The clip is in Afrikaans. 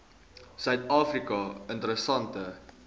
suid afrika interessante